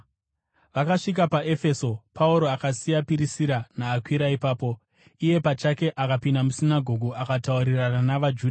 Vakasvika paEfeso, Pauro akasiya Pirisira naAkwira ipapo. Iye pachake akapinda musinagoge akataurirana navaJudha.